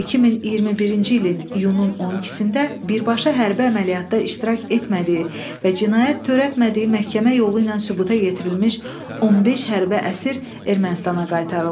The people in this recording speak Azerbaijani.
2021-ci ilin iyunun 12-də birbaşa hərbi əməliyyatda iştirak etmədiyi və cinayət törətmədiyi məhkəmə yolu ilə sübuta yetirilmiş 15 hərbi əsir Ermənistana qaytarıldı.